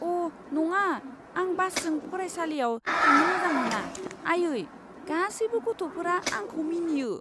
अ' नङा! आं बासजों फरायसालियाव थांनो मोजां मोना, आइयै। गासैबो गथ'फोरा आंखौ मिनियो!